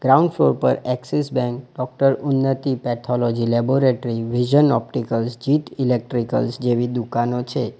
Front floor પર Axis Bank doctor Unnati pathology laboratory vision opticals Jeet electricals જેવી દુકાનો છે.